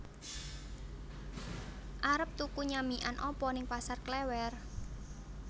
Arep tuku nyamikan apa ning Pasar Klewer?